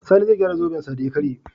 sani zai gyara zoben sa da ya karye